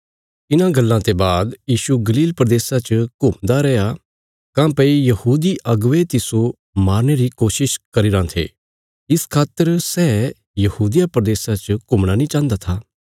इन्हां गल्लां ते बाद यीशु गलील प्रदेशा च घुमदा रैया काँह्भई यहूदी अगुवे तिस्सो मारने रा जतन करीराँ थे इस खातर सै यहूदिया प्रदेशा च घुमणा नीं चाहन्दा था